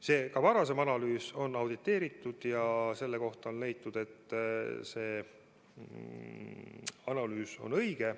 Kuid ka varasem analüüs on auditeeritud ja on leitud, et see analüüs on õige.